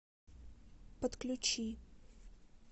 подключи